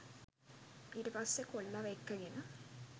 ඊට පස්සෙ කොල්ලව එක්කගෙන